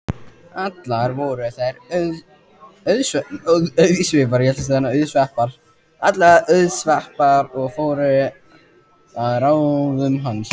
Allar voru þær auðsveipar og fóru að ráðum hans.